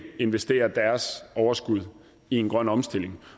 investerer deres overskud i en grøn omstilling